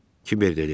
Kiber dedi.